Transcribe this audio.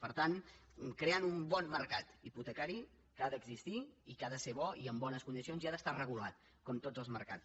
per tant creant un bon mercat hipotecari que ha d’existir i que ha de ser bo i amb bones condicions i que ha d’estar regulat com tots els mercats